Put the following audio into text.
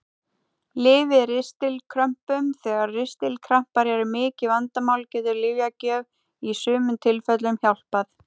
Lyf við ristilkrömpum Þegar ristilkrampar eru mikið vandamál getur lyfjagjöf í sumum tilfellum hjálpað.